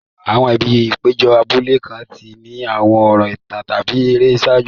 Àwọn ibi ìpéjọ abúlé kan ti ní àwọn ọ̀rọ̀ ìtàn tàbí ère ṣáájú.